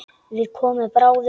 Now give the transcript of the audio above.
Við komum bráðum.